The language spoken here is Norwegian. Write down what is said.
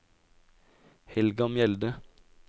Helga Mjelde